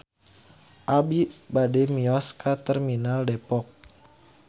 Abi bade mios ka Terminal Depok